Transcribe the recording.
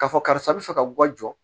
K'a fɔ karisa bɛ fɛ ka u ka jɔ